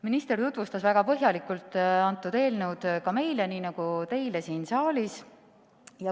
Minister tutvustas väga põhjalikult eelnõu ka meile nii nagu teile siin saalis.